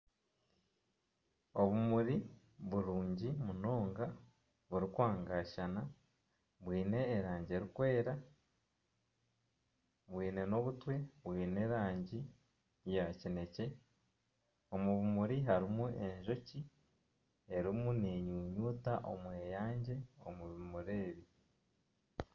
Obumuri burungi munoonga buri kwangashana bwine erangi erikwera bwine n'obutwe bwine erangi ya kinekye. omu bimuri harimu Enjoki erimu nenyunyuta omweyangye omu bimuri ebi.